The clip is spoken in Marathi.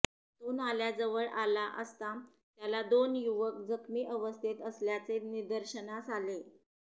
तो नाल्याजवळ आला असता त्याला दोन युवक जखमी अवस्थेत असल्याचे निदर्शनास आले